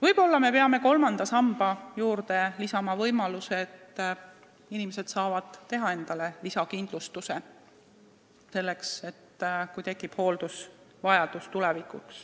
Võib-olla me peame kolmanda samba juurde lisama võimaluse, et inimesed saaksid teha lisakindlustuse selle tarbeks, kui tulevikus tekib hooldusvajadus.